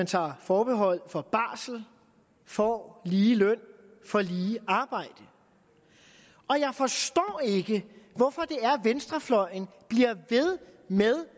tager forbehold for barsel får lige løn for lige arbejde og jeg forstår ikke hvorfor venstrefløjen bliver ved med